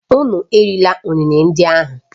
Unu erila ụnene ndị ahụ!